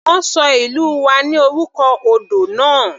Wọ́n ṣọ ìlú wa ní orúkọ odò náà.